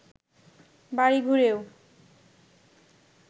বাড়ি ঘুরেও